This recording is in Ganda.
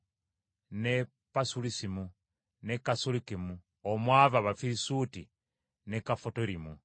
ne Pasulusimu, ne Kasulukimu (omwava Abafirisuuti) ne Kafutorimu.